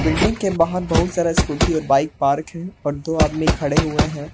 Building के बाहर बहुत सारा स्कूटी और बाइक पार्क हैं और दो आदमी खड़े हुए हैं।